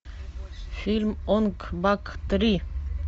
фильм онг бак три